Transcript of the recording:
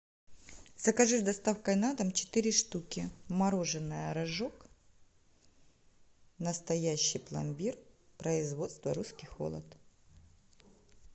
закажи с доставкой на дом четыре штуки мороженое рожок настоящий пломбир производство русский холод